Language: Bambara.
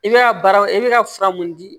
I bɛ ka baraw i bɛ ka fura mun di